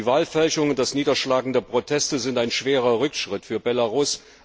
Die Wahlfälschung und das Niederschlagen der Proteste sind ein schwerer Rückschritt für Belarus.